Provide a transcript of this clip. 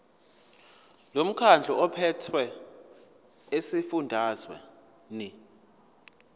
lomkhandlu ophethe esifundazweni